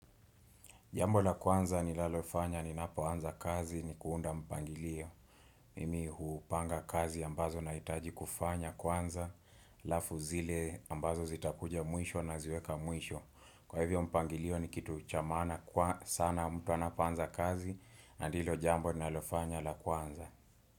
Jambo la kwanza nilalofanya ninapoanza kazi ni kuunda mpangilio. Mimi hupanga kazi ambazo nahitaji kufanya kwanza. Alafu zile ambazo zitakuja mwisho naziweka mwisho. Kwa hivyo mpangilio ni kitu cha maana kwa sana mtu anapoanza kazi na ndilo jambo nilalofanya la kwanza.